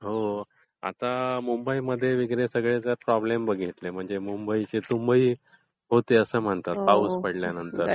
हो, आता मुंबईमध्ये वगैरे सगळे जर प्रॉब्लेम बघितले, म्हणजे मुंबईची तुंबई होते असं म्हणतात पाऊस पडल्यानंतर.